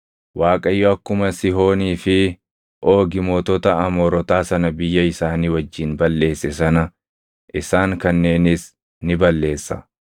Waaqayyo akkuma Sihoonii fi Oogi mootota Amoorotaa sana biyya isaanii wajjin balleesse sana isaan kanneenis ni balleessa.